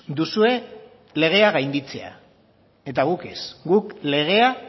duzue legea gainditzea eta guk ez guk legea